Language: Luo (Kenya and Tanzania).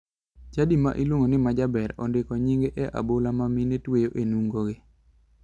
Chadi ma iluongo ni majaber ondiko nyinge e abola ma mine tweyo e nungogi.